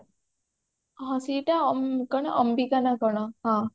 ହଁ ସେଇଟା କଣ ଅମ୍ବିକା ନା କଣ ହଁ